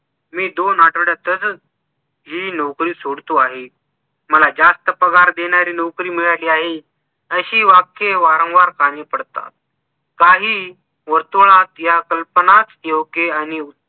मी दोन आठवड्याततच हि नोकरी सोडतो आहे. मला जास्त पगार देणारी नोकरी मिळाली आहे. अशी वाक्य वारंवार कानी पडतात. काही वर्तुळात या कल्पनाच योग्य आणि